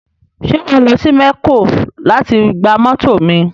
Ṣé wà á lọ sí mẹ̀kó láti gba mọ́tọ̀ mi